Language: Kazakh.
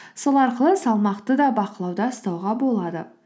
сол арқылы салмақты да бақылауда ұстауға болады